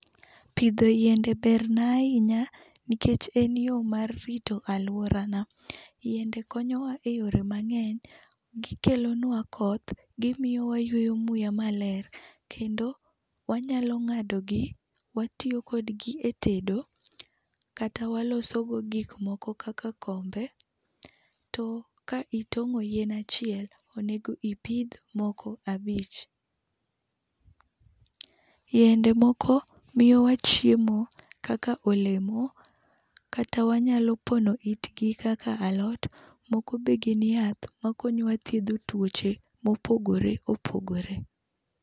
Pidho yiende ber na ahinya nikech en yo mar rito aluorana. Yiende konyowa e yore mang'eny gi kelonwa koth, gi miyo wayweyo muya maler kendo wanyalo ng'ado gi watiyo kod gi e tedo, kata waloso go gik moko kaka kombe, to ka itong'o yien achiel onego ipidh moko abich .Yiende moko miyowa chiemo kaka olemo kata wanyalo pono it gi kaka alot moko be gin yath ma konyowa thiedho tuoche ma opogore opogore.